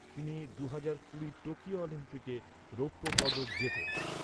তিনি দুহাজার কুড়ি টোকিও অলিম্পিকে রৌপ্য পদক জেতেন।